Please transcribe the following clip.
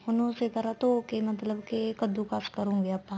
ਉਹਨੂੰ ਉਸੀ ਤਰ੍ਹਾਂ ਧੋ ਕੇ ਮਤਲਬ ਕੇ ਕੱਦੁਕਸ ਕਰੋਂਗੇ ਆਪਾਂ